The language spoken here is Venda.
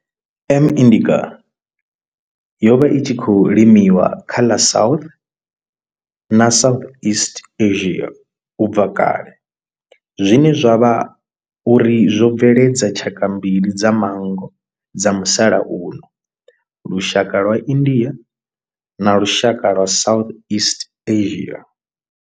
M. indica yo vha i tshi khou limiwa kha ḽa South na Southeast Asia ubva kale zwine zwa vha uri zwo bveledza tshaka mbili dza manngo dza musalauno lushaka lwa India na lushaka lwa Southeast Asia.